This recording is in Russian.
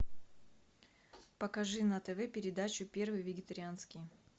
покажи на тв передачу первый вегетарианский